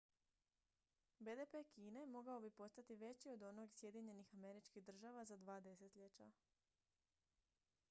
bdp kine mogao bi postati veći od onog sjedinjenih američkih država za dva desetljeća